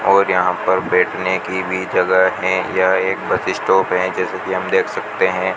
और यहां पर बैठने की भी जगह है यह एक बस स्टॉप है जैसी की हम देख सकते हैं।